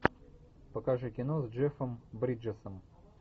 покажи кино с джеффом бриджесом